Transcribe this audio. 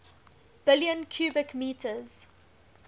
billion cubic meters